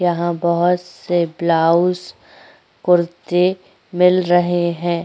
यहां बहोत से ब्लाउस कुर्ती मिल रहे हैं।